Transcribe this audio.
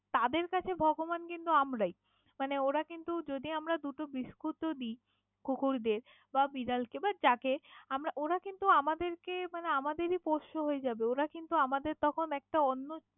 তাদের কাছে ভগবান কিন্তু আমরাই, মানে ওরা কিন্তু যদি আমারা দুটো বিস্কুট ও দি কুকুরদের বা বিড়ালকে বা যাকে আমারা ওরা কিন্তু আমাদের কে মানে আমাদেরই পোষ্য হয়ে যাবে ওরা কিন্তু আমাদের তখন একটা অন্য।